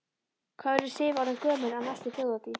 Hvað verður Sif orðin gömul á næstu Þjóðhátíð?